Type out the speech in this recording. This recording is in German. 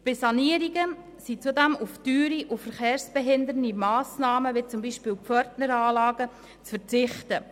Bei Sanierungen sind zudem auf teure und verkehrsbehindernde Massnahmen wie zum Beispiel Pförtneranlagen zu verzichten.